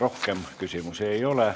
Rohkem küsimusi ei ole.